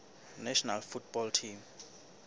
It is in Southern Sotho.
national football team